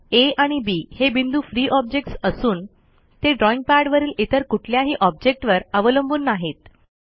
आ आणि बी हे बिंदू फ्री ऑब्जेक्ट्स असून ते ड्रॉईंग पॅडवरील इतर कुठल्याही ऑब्जेक्टवर अवलंबून नाहीत